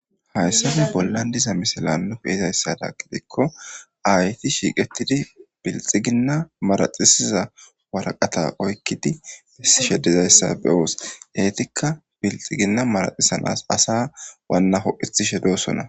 Haysan bolan diza missilan be'zaysadan gidiko aayeti shiqetidi bilixigina maradhisiza waraqata oykidi besishe dizaysa be'os etika bilixigina maradhisanas asa wanaho'isishe de'osona.